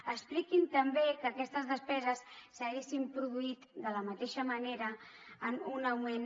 expliquin també que aquestes despeses s’haguessin produït de la mateixa manera amb un augment